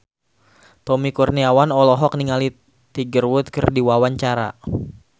Tommy Kurniawan olohok ningali Tiger Wood keur diwawancara